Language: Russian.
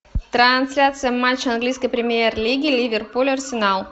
трансляция матча английской премьер лиги ливерпуль арсенал